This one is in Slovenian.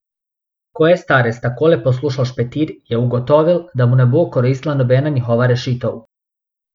Ko je starec takole poslušal špetir, je ugotovil, da mu ne bo koristila nobena njihova rešitev.